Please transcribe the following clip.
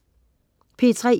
P3: